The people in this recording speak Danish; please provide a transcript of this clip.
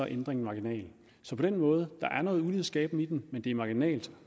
ændringen marginal så på den måde der er noget ulighedsskabende i den men det er marginalt